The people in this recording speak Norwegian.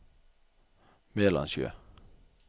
Melandsjø